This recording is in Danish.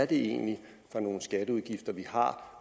det egentlig er for nogle skatteudgifter vi har